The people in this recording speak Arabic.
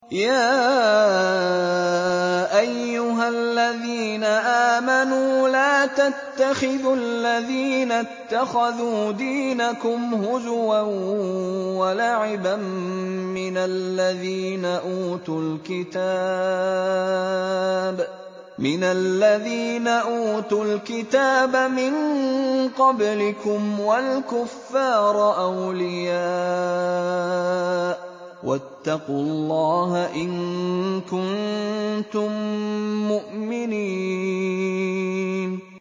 يَا أَيُّهَا الَّذِينَ آمَنُوا لَا تَتَّخِذُوا الَّذِينَ اتَّخَذُوا دِينَكُمْ هُزُوًا وَلَعِبًا مِّنَ الَّذِينَ أُوتُوا الْكِتَابَ مِن قَبْلِكُمْ وَالْكُفَّارَ أَوْلِيَاءَ ۚ وَاتَّقُوا اللَّهَ إِن كُنتُم مُّؤْمِنِينَ